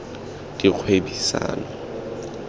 dikgwebisano